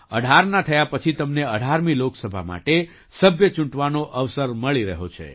18ના થયા પછી તમને 18મી લોકસભા માટે સભ્ય ચૂંટવાનો અવસર મળી રહ્યો છે